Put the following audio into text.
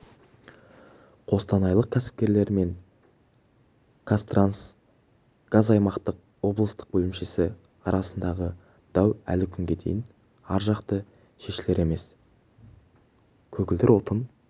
қостанайлық кәсіпкерлер мен қазтрансгазаймақтың облыстық бөлімшесі арасындағы дау әлі күнге дейін біржақты шешілер емес көгілдір отын